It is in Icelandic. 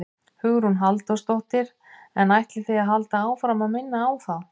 Hugrún Halldórsdóttir: En ætlið þið að halda áfram að minna þá á?